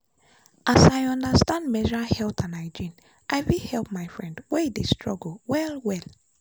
as i understand menstrual health and hygiene i fit help my friend wey dey struggle well-well.